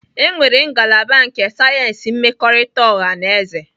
Enwere ngalaba nke sayensị mmekọrịta ọha na eze.